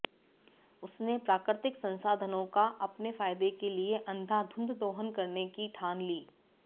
उसने प्राकृतिक संसाधनों का अपने फायदे के लिए अंधाधुंध दोहन करने की ठान ली